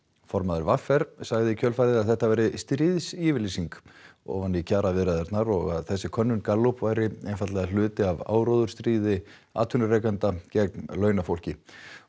formaður v r sagði í kjölfarið að þetta væri stríðsyfirlýsing ofan í kjaraviðræðurnar og að þessi könnun Gallup væri hluti af áróðursstríði atvinnurekenda gegn launafólki